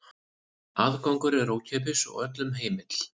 Aðgangur er ókeypis og öllum heimill.